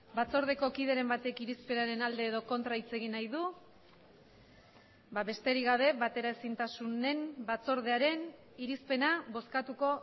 batzordeko kideren batek irizpenaren alde edo kontra hitz egin nahi du besterik gabe bateraezintasunen batzordearen irizpena bozkatuko